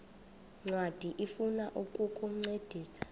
ncwadi ifuna ukukuncedisa